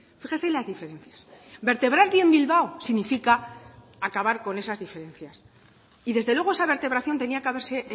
fíjese las diferencias vertebrar bien bilbao significa acabar con esas diferencias y desde luego esa vertebración tenía que haberse